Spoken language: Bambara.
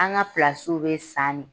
An ga bɛ sannen.